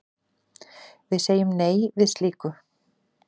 Við segjum nei við slíku.